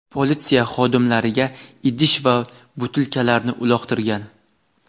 politsiya xodimlariga idish va butilkalarni uloqtirgan.